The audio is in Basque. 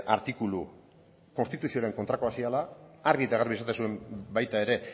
artikulu konstituzioaren kontrakoak zirela argi eta garbi esaten zuen baita ere